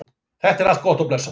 Þetta er allt gott og blessað.